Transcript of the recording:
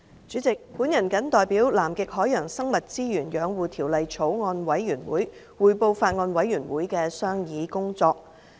主席，我謹代表《南極海洋生物資源養護條例草案》委員會，匯報法案委員會的商議工作。